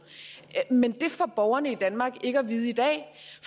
men det får borgerne i danmark ikke at vide i dag